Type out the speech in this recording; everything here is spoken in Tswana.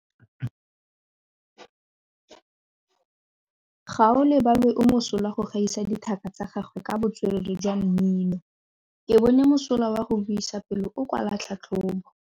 Gaolebalwe o mosola go gaisa dithaka tsa gagwe ka botswerere jwa mmino. Ke bone mosola wa go buisa pele o kwala tlhatlhobô.